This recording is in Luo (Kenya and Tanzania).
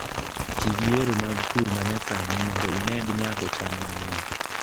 Ti gi yore mag pur ma nyasani mondo imed nyago cham mang'eny